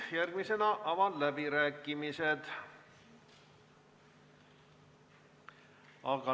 Järgmisena avan läbirääkimised.